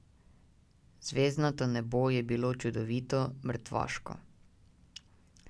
Zvezdnato nebo je bilo čudovito, mrtvaško.